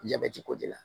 Jabɛti ko de la